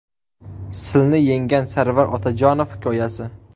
Silni yenggan Sarvar Otajonov hikoyasi.